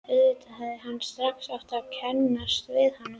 Auðvitað hefði hann strax átt að kannast við hana.